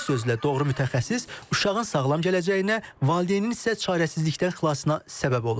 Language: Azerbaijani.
Bir sözlə, doğru mütəxəssis uşağın sağlam gələcəyinə, valideynin isə çarəsizlikdən xilasına səbəb olur.